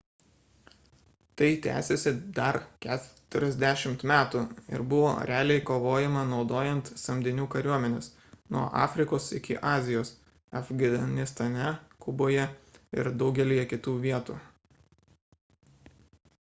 tai tęsėsi dar 40 metų ir buvo realiai kovojama naudojant samdinių kariuomenes nuo afrikos iki azijos afganistane kuboje ir daugelyje kitų vietų